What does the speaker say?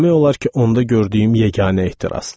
Demək olar ki, onda gördüyüm yeganə ehtirasdır.